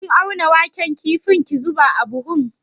Kin auna waken kafin ki zuba a buhu?